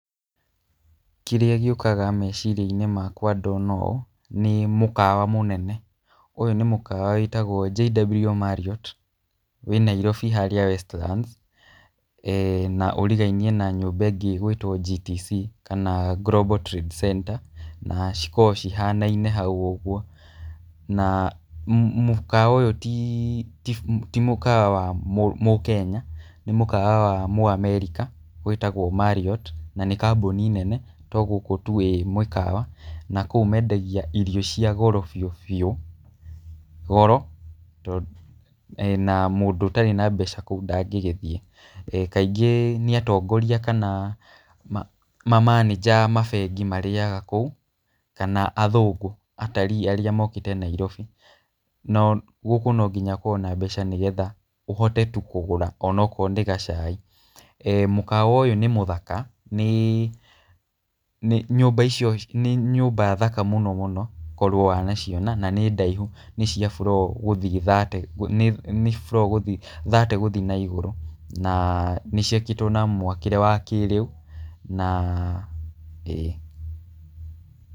Kĩrĩa gĩũkaga meciria-inĩ makwa ndona ũũ, nĩ mũkawa mũnene. Ũyũ nĩ mũkwa wĩtagwo JW Marriot, wĩ Nairobi harĩa Westlands na ũrigainie na nyumba ĩngĩ ĩgwĩtwo GTC kana Gobal Trade Center, na cikoragwo cihanaine hau ũguo. Na mũkawa ũyũ ti mũkawa wa mũKenya nĩ mũkawa wa mũAmerika wĩtagwo Marriot, na nĩ kambũni nene to gũkũ tu ĩ mũkawa. Na kũu mendagia irio cia goro biũ biũ, goro na mũndũ ũtarĩ na mbeca kũu ndangĩgĩthiĩ. Kaingĩ nĩ atongoria kana mamanĩnja a mabengi marĩaga kũu kana athũngũ atarii arĩa mokĩte Nairobi, na gũkũ no nginya ũkorwo na mbeca nĩgetha ũhote tu kũgũra onakorwo nĩ gacai. Mũkawa ũyũ nĩ mũthaka, nĩ, nĩ nyũmba icio, nĩ nyũmba thaka mũno mũno korwo wanaciona na nĩ ndaihu nĩ cia floor gũthiĩ thate nĩ floor thate gũthiĩ na igũrũ, na nĩciakĩtwo na mwakĩre wa kĩrĩu, na ĩĩ.